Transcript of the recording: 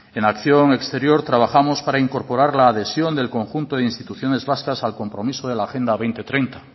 en acción exterior trabajamos para incorporar la adhesión del conjunto de instituciones vascas al compromiso de la agenda dos mil treinta